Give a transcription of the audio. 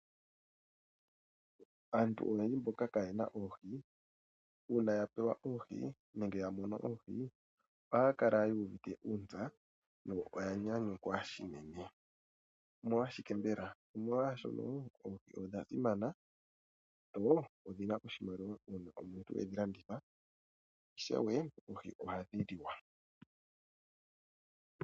Aantu oyendji mboka kayena oohi una ya pewa nenge ya mono oohi ohaya kala yu uvite uunatsa yo oya nyanyukwa shili unene, omolwashike mbela? Omolwashono oohi odha simana dho odhina oshimaliwa una omuntu edhilanditha sho ishewe oohi ohadhi liwa.